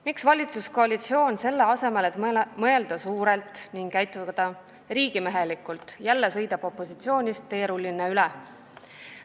Miks valitsuskoalitsioon, selle asemel, et mõelda suurelt ning käituda riigimehelikult, jälle sõidab opositsioonist teerullina üle?